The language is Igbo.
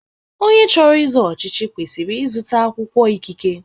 Onye chọrọ izo ọchịchị kwesịrị ịzụta akwụkwọ ikike.